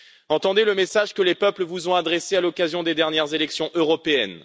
Entendez le message que les peuples vous ont adressé à l'occasion des dernières élections européennes.